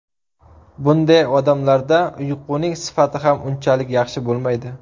Bunday odamlarda uyquning sifati ham unchalik yaxshi bo‘lmaydi.